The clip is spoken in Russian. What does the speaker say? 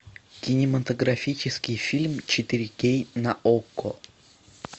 кинематографический фильм четыре кей на окко